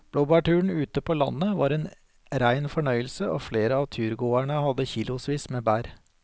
Blåbærturen ute på landet var en rein fornøyelse og flere av turgåerene hadde kilosvis med bær.